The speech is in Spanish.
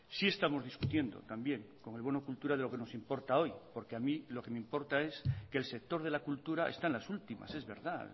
sí estamos discutiendo también con el bono cultura de lo que nos importa hoy porque a mí lo que me importa es que el sector de la cultura está en las últimas es verdad